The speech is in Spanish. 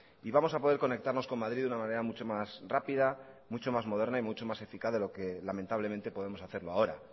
y vamos a poder conectarnos con madrid de una manera mucho más rápida mucho más moderna y mucho más eficaz de lo que lamentablemente podemos hacerlo ahora